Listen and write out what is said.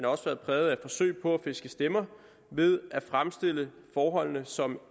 også været præget af forsøg på at fiske stemmer ved at fremstille forholdene som